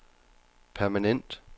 permanent